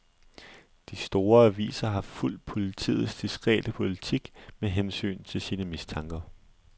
De store aviser har fulgt politiets diskrete politik med hensyn til sine mistanker.